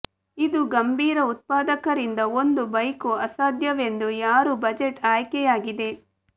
ಇದು ಗಂಭೀರ ಉತ್ಪಾದಕರಿಂದ ಒಂದು ಬೈಕು ಅಸಾಧ್ಯವೆಂದು ಯಾರು ಬಜೆಟ್ ಆಯ್ಕೆಯಾಗಿದೆ